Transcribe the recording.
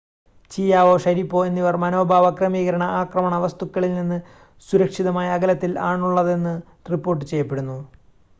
Chiao Sharipov എന്നിവർ മനോഭാവ ക്രമീകരണ ആക്രമണ വസ്തുക്കളിൽനിന്ന് സുരക്ഷിതമായ അകലത്തിൽ ആണുള്ളതെന്ന് റിപ്പോർട്ട് ചെയ്യപ്പെടുന്നു